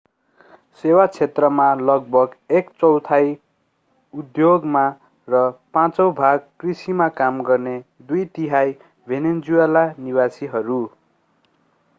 सेवा क्षेत्रमा लगभग एक चौथाइ उद्योगमा र पाँचौँ भाग कृषिमा काम गर्ने दुई तिहाइ भेनेजुएला निवासीहरू